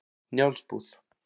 Njálsbúð